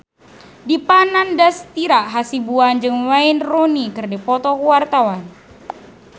Dipa Nandastyra Hasibuan jeung Wayne Rooney keur dipoto ku wartawan